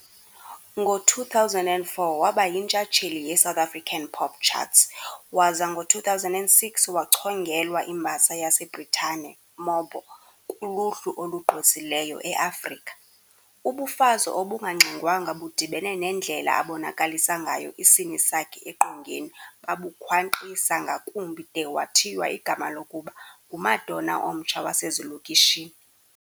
Ngo2004 wabayintshatsheli yeSouth African pop charts, waza ngo-2006 wachongelwa imbasa yaseBritane MOBO kuluhlu olugqwesileyo eAfrika. Ubufazi obungangxengwanga budibene nendlela abonakalisa ngayo isini sakhe eqongeni babukhwankqisa ngakumbi de wathiywa igama lokuba ngu"Madonna omtsha wasezilokishini".